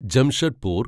Jamshedpur